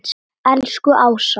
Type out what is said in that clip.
Elsku Ása.